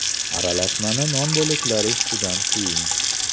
Aralashmani non bo‘laklari ustidan quying.